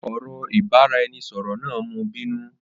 Ọ̀rọ̀ ìbáraẹnisọọ̀rọ̀ náà mú bínú.